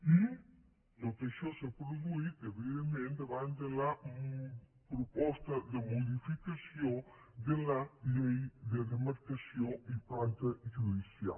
i tot això s’ha produït evidentment davant de la proposta de modificació de la llei de demarcació i planta judicial